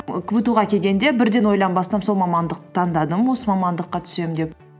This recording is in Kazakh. кбту ға келгенде бірден ойланбастан сол мамандықты таңдадым осы мамандыққа түсемін деп